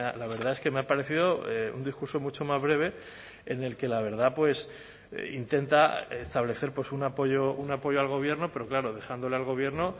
la verdad es que me ha parecido un discurso mucho más breve en el que la verdad pues intenta establecer un apoyo un apoyo al gobierno pero claro dejándole al gobierno